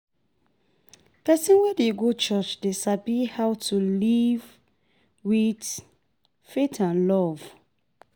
Pesin wey dey go church dey sabi how to live with faith and love